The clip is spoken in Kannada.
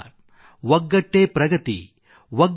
ಒಗ್ಗಟ್ಟಿನಿಂದ ನಾವು ಹೊಸ ಎತ್ತರಗಳನ್ನು ಅಧಿಗಮಿಸುತ್ತೇವೆ